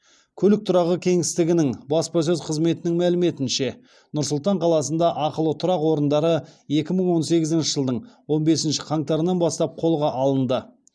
көлік тұрағы кеңістігінің баспасөз қызметінің мәліметінше нұр сұлтан қаласында ақылы тұрақ орындары екі мың он сегізінші жылдың он бесінші қаңтарынан бастап қолға алынды